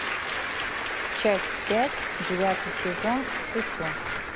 часть пять девятый сезон шучу